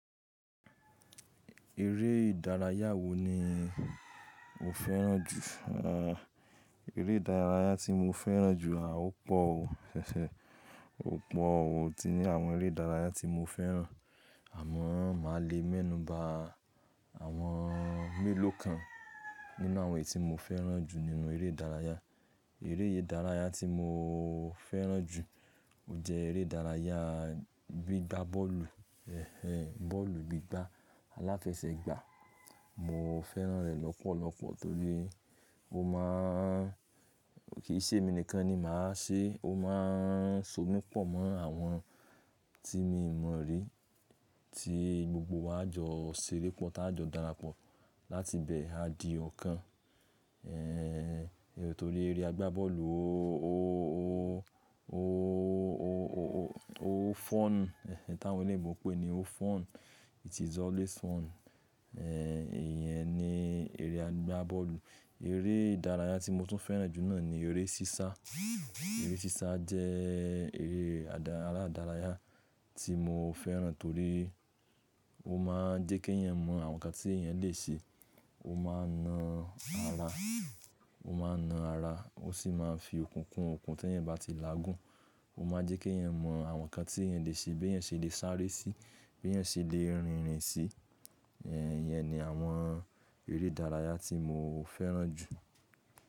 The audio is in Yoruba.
Eré ìdárayá wo ni o fẹ́ràn jù? Eré ìdárayá tí mo fẹ́ràn jù, ó pọ̀ o, ṣẹ̀ṣẹ̀, ó pọ̀ o. Mó ti ní àwọn eré ìdárayá tí mo fẹ́ràn, àmọ́ màá le mẹ́nuba àwọn mélòó kan nínú àwọn tí mo fẹ́ràn jù nínú eré ìdárayá. Eré ìdárayá tí mo fẹ́ràn jù, ó jẹ́ eré ìdárayá gbígbá bọ́ọ̀lù, ẹ̀hen, bọ́ọ̀lù gbígbá, aláfẹsẹ̀gbá. Mo fẹ́ràn rẹ̀ lọ́pọ̀lọpọ̀ torí ó má ń-- kì í ṣe èmi nìkan ni màá ṣe, ó má ń so mí pọ̀ mọ́ àwọn tí mi o mọ̀ rí, tí gbogbo wa a jọ ṣeré pọ̀ tá jọ darapọ̀, láti bẹ́ẹ̀ a di ọ̀kan. Ẹ̀ torí eré àgbá bọ́ọ̀lù ó, ó, ó, ó, ó, ó, ó fọ́n, ẹ́hen, tí àwọn ilẹ̀ Igbo pé ni o fọ́n, it is always fún. Ẹ̀ ìyẹn ni eré àgbá bọ́ọ̀lù. Eré ìdárayá tí mo tún fẹ́ràn jù náà ni eré sísá. Eré sísá jẹ́ eré àdá ara ìdárayá tí mo fẹ́ràn torí ó má ń jẹ́ kí èèyàn mọ àwọn nǹkan tí èèyàn le ṣe. Ó má ń na ara, ó má ń na ara, ó sì má ń fi okùn kún okùn tí ẹ̀yin bá ti lágùn. Ó má ń jẹ́ kí èèyàn mọ àwọn nǹkan tí èèyàn le ṣe, bí èèyàn ṣe le sáré síi, bí èèyàn ṣe le rìnrìn sí. Ẹ̀ ìyẹn ni àwọn eré ìdárayá tí mo fẹ́ràn jù.